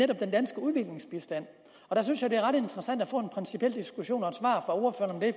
den danske udviklingsbistand og der synes jeg det er ret interessant at få en principiel diskussion og